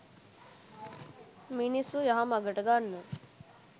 මිනිස්සු යහ මගට ගන්න.